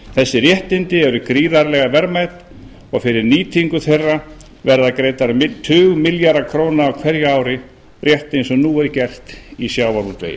þessi réttindi eru gríðarlega verðmæt og fyrir nýtingu þeirra verða greiddir tugmilljarðar króna á hverju ári rétt eins og nú er gert í sjávarútvegi